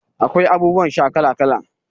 Akwai abubuwan sha kala kala.